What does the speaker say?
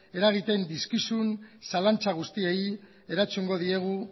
eragiten dizkizun zalantza guztiei erantzungo diegu